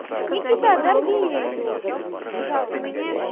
никита дорви её уже пожалуйста